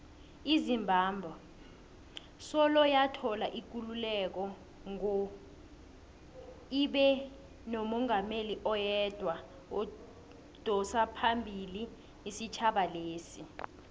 izimbabwe soloyathola ikululeko ngo ibenomungameli oyedwa odosaphambili isitjhaba lesa